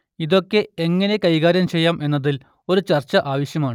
ഇതൊക്കെ എങ്ങനെ കൈകാര്യം ചെയ്യാം എന്നതിൽ ഒരു ചർച്ച ആവശ്യമാണ്